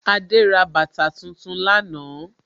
Adé ra bàtà tuntun lánàá